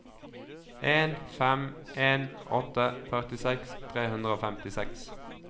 en fem en åtte førtiseks tre hundre og femtiseks